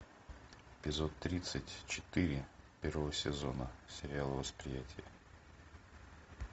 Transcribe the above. эпизод тридцать четыре первого сезона сериала восприятие